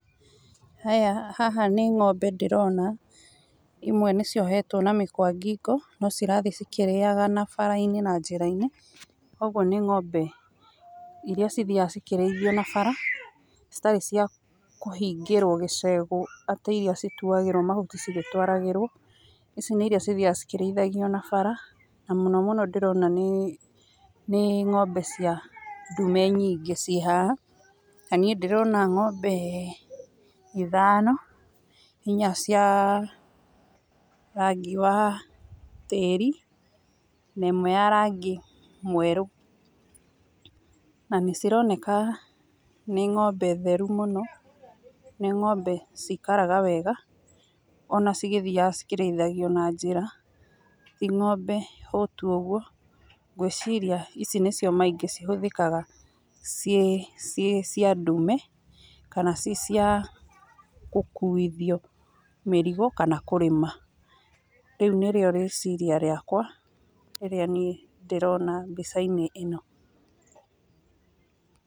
Haya haha nĩ ng'ombe ndĩrona imwe nĩ ciohetwo na mĩkwa ngingo no cirathiĩ ikĩrĩaga na na bara-inĩ na njĩra-inĩ kwoguo nĩ ng'ombe iria cithiaga cikĩrĩithagio na bara citarĩ cia kũhingĩrwo gĩchegũ atĩ iria cituagĩrwo mahuti cigĩtwaragĩrwo ici nĩ iria cithiaga ikĩrĩithagio na bara na mũnono ndĩrona nĩ nĩ ng'ombe cia ndume nyingĩ ciĩhaha na niĩ ndĩrona ng'ombe ithano, inya cia rangi wa tĩri na ĩmwe ya rangi mwerũ na nĩ cironeka nĩ ng'ombe theru mũno nĩ ng'ombe cikaraga wega ona cigĩthiaga cikĩrĩithagio na njĩra, ti ng'ombe hũtu ũguo ngwĩciria ici nĩcio maĩingĩ cihũthĩkaga ciĩ ciĩ cia ndume kana ciĩ cia gũkuithio mĩrigo kana kũrĩma, rĩu nĩrĩo rĩciria rĩa kwa rĩrĩa niĩ ndĩrona mbica-inĩ ĩno.